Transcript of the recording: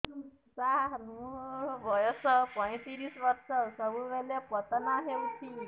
ସାର ମୋର ବୟସ ପୈତିରିଶ ବର୍ଷ ସବୁବେଳେ ପତନ ହେଉଛି